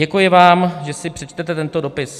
Děkuji vám, že si přečtete tento dopis."